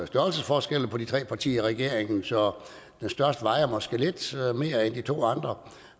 størrelsesforskelle på de tre partier i regeringen så det største vejer måske lidt mere end de to andre